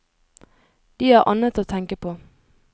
De har annet å tenke på.